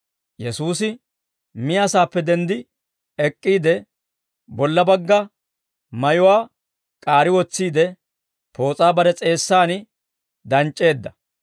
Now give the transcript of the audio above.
Yesuusi miyasaappe denddi ek'k'iide, bolla bagga mayuwaa k'aari wotsiide, poos'aa bare s'eessan danc'c'eedda.